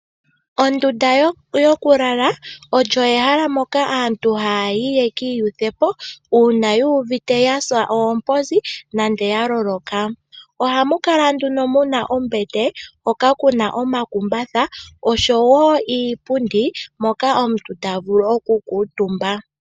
Ondunda yokulala oyo ehala moka aantu haya yi yekiiyuthepo uuna yuuvite yasa oomposi nenge yaloloka. Ohamu kala nduno muna ombete hoka kuna omakumbatha. Nosho woo iipundi hoka omuntu tavulu oku kuutumba.